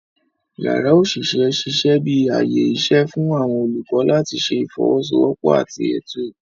Yàrá oṣiṣẹ ṣiṣẹ bi ààyè iṣẹ fún awọn olukọ làti ṣe ifowosowopo àti Ètò